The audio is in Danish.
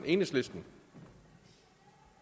interesse